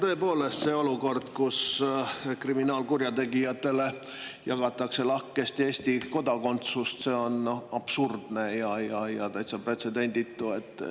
Tõepoolest, see olukord, kus kriminaalkurjategijatele jagatakse lahkesti Eesti kodakondsust, on absurdne ja täitsa pretsedenditu.